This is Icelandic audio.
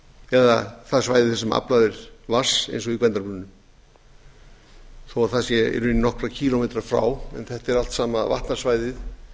eða það svæði sem aflað er vatns eins og í gvendarbrunnum þó það sé í rauninni nokkra kílómetra frá en þetta er allt sama vatnasvæðið